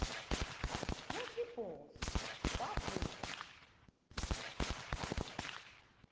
wesibhozo wabhu bha